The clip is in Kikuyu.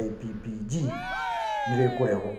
IPPG nĩ rĩkũregũo.